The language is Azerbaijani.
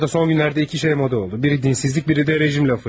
Rusiyada son günlərdə iki şey moda oldu: biri dinsizlik, biri də rejim lafı.